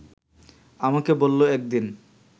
আমাকে বলল একদিন